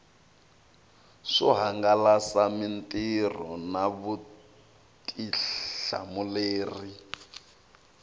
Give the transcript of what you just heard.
swo hangalasa mitirho na vutihlamuleri